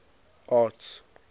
arts